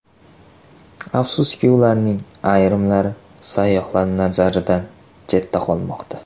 Afsuski, ulardan ayrimlari sayyohlar nazaridan chetda qolmoqda.